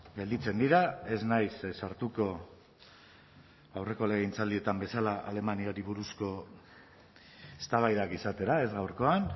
gelditzen dira ez naiz sartuko aurreko legegintzaldietan bezala alemaniari buruzko eztabaidak izatera ez gaurkoan